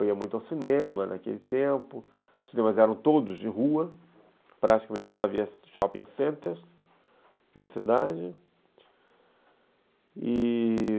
Eu ia muito ao cinema naquele tempo, os cinemas eram todos de rua, praticamente não havia shopping centers na cidade e...